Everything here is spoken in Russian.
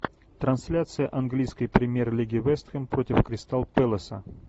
трансляция английской премьер лиги вест хэм против кристал пэласа